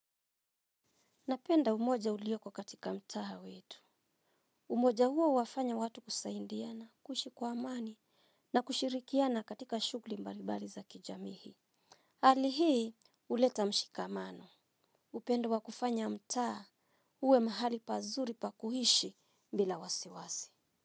Napenda umoja ulioko katika mtaa wetu. Umoja huo hufanya watu kusaidiana, kuishi kwa amani na kushirikiana katika shughuli mbalibali za kijamii. Hali hii huleta mshikamano upendo wa kufanya mtaa uwe mahali pazuri pakuhishi bila wasiwasi.